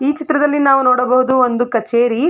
ಈ ಚಿತ್ರದಲ್ಲಿ ನಾವು ನೋಡಬಹುದು ಒಂದು ಕಚೇರಿ --